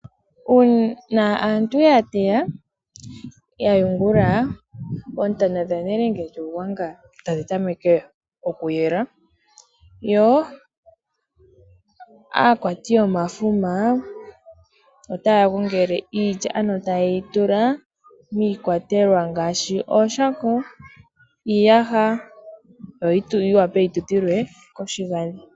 Uuna aantu ya teya ya yungula oontana dhanelende lyuugwanga tadhi tameke okuyela. Yo aakwati yomafuma otaya gongele iilya ano tayeyi tula miikwatelwa ngaashi ooshako, iiyaha yo yi wape yitutilwe koshigadhi.